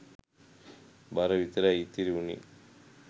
බර විතරයි ඉතිරි වුනේ.